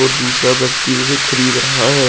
दूसरा व्यक्ति उसे खरीद रहा है।